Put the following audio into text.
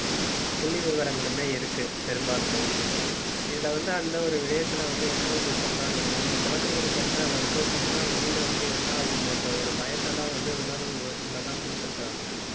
புள்ளி விவரங்களுமே இருக்கு பெரும்பாலுமே. இதுல வந்து, அந்த ஒரு விடயத்துல வந்து, என்ன வந்து சொல்றாங்கன்னா, அந்த குழந்தைங்களுக்கு வந்து அதை வந்து சொன்னா வெளியில வந்து என்ன ஆகுமோன்ற ஒரு பயத்தைதான் வந்து உணர்வுல தான் கொடுத்திருக்கிறாங்க.